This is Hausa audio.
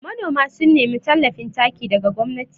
Nanoma sun nemi tallafin taki daga gwamnati